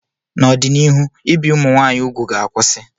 N'ọdịnihu, ibi ụmụ nwanyị úgwù ga-akwụsị.